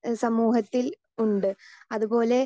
speaker 2 സമൂഹത്തിൽ ഉണ്ട് അതുപോലെ